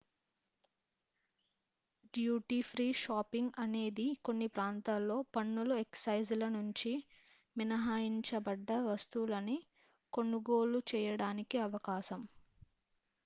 duty free shopping అనేది కొన్ని ప్రాంతాల్లో పన్నులు ఎక్సైజ్ ల నుంచి మినహాయించబడ్డ వస్తువులను కొనుగోలు చేయడానికి అవకాశం